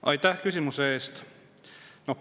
Aitäh küsimuse eest!